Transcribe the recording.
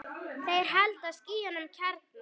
Þeir halda sínum kjarna.